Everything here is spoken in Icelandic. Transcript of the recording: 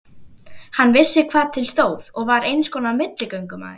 Hann vissi hvað til stóð og var einskonar milligöngumaður.